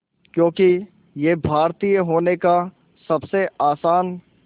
क्योंकि ये भारतीय होने का सबसे आसान